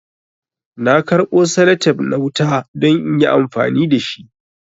Na karbo salatep na wuta don inyi amfani dashi